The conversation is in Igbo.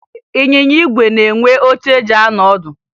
Ịnyịnya ígwè na-enwe oche eji anọ ọdụ